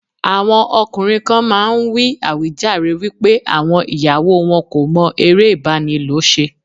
Àwọn ọkùnrin kan máa ń wí àwíjàre wípé àwọn ìyàwó wọn kò mọ eré ìbánilò ṣe.